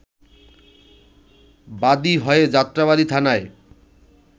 বাদী হয়ে যাত্রাবাড়ি থানায়